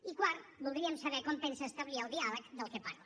i quart voldríem saber com pensa establir el diàleg de què parla